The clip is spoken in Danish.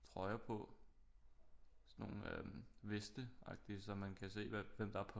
Trøjer på sådan nogle øh veste agtig så man kan se hvem der er på